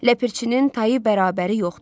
Ləpirçinin tayı bərabəri yoxdur.